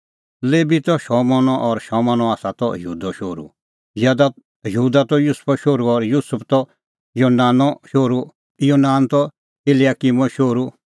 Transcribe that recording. लेबी त शमौनो और शमौन आसा त यहूदो शोहरू यहूदा त युसुफो शोहरू और युसुफ त योनानो शोहरू योनान त इल्याकिमो शोहरू